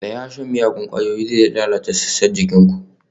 Tsaya! shan miyagun ƙwayoyi zai lalata sassan jikin ku